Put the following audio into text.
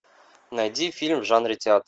найди фильм в жанре театр